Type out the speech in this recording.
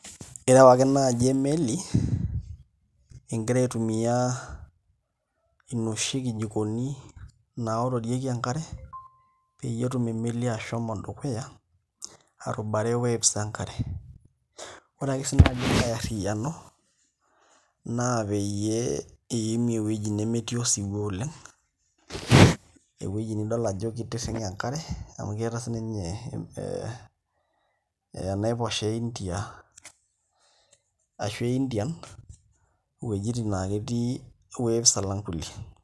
Ireu ake naai emeli ingira aitumia inoshi kijikoni naororieki enkare peyie etum emeli ashomo dukuya arubare waves enkare Ore ake sii nai enkae arriyiano naa peyie iimie ewueji nemetii osiwuo oleng ewueji nidol ajo kitirring'e enkare amu keeta sininye enaiposha e a Indian uweujitin naa ketii waves alang' kulie.